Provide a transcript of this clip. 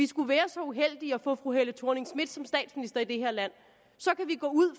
skulle være så uheldige at få fru helle thorning schmidt som statsminister i det her land så kan vi gå ud